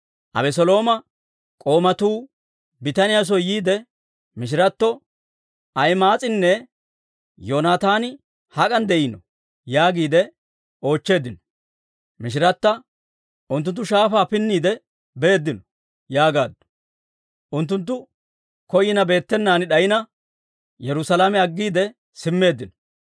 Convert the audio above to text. Abeselooma k'oomatuu bitaniyaa soo yiide mishiratto, «Ahima'aas'inne Yoonataani hak'an de'iinoo?» yaagiide oochcheeddino. Mishirata, «Unttunttu shaafaa pinniide beeddino» yaagaaddu; unttunttu koyina beettenaan d'ayina, Yerusaalame aggiide simmeeddino.